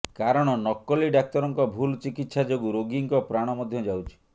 କାରଣ ନକଲି ଡାକ୍ତରଙ୍କ ଭୁଲ ଚିକିତ୍ସା ଯୋଗୁଁ ରୋଗୀଙ୍କ ପ୍ରାଣ ମଧ୍ୟ ଯାଉଛି